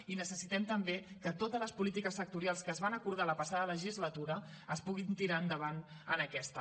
i necessitem també que totes les polítiques sectorials que es van acordar la passada legislatura es puguin tirar endavant en aquesta